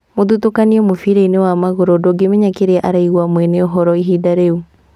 Mũthutũkanio mũbira-inĩ wa magũrũ, ndũngĩmenya kĩrĩa araigua mwene ũhoro ihinda rĩu'